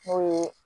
N'o ye